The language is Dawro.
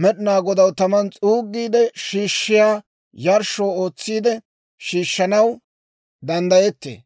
Med'inaa Godaw taman s'uugiide shiishshiyaa yarshsho ootsiide shiishshanaw danddayettee.